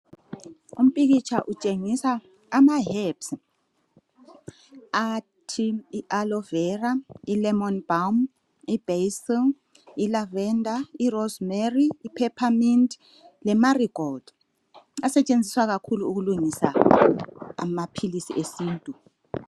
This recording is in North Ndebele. Umpikitsha utshengisa amaherbs athi I aloe vera, I lemon balm, ibasil, lavender, I rosemary, I peppermint le Marygold asetshenziswa kakhulu ukulungisa amaphilisi yesintu.